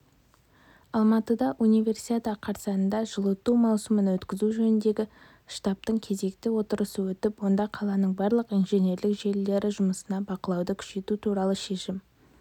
алматыда универсиада қарсаңында жылыту маусымын өткізу жөніндегі штабтың кезекті отырысы өтіп онда қаланың барлық инженерлік желілері жұмысына бақылауды күшейту туралы шешім